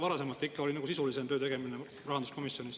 Varasemalt tehti ikka sisulisemat tööd rahanduskomisjonis.